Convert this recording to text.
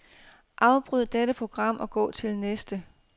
Afbryd dette program og gå til næste.